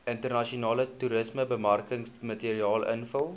internasionale toerismebemarkingsmateriaal invul